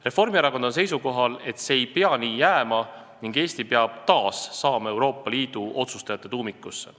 Reformierakond on seisukohal, et see ei tohi nii jääda ning Eesti peab taas saama Euroopa Liidu otsustajate tuumikusse.